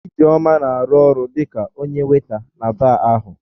Ijeoma na-arụ ọrụ dị ka onye waịta na baa ahụ.